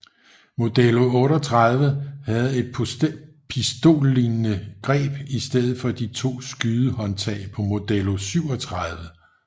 Modello 38 havde et pistollignende greb i stedet for de to skydehåndtag på Modello 37